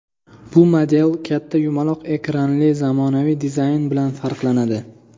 Bu model katta yumaloq ekranli zamonaviy dizayni bilan farqlanadi.